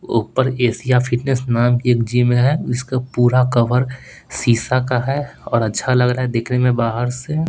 ऊपर Asia fitness नाम की एक जिम है उसका पूरा कवर शीशा का है और अच्छा लग रहा है देखने मे बाहर से।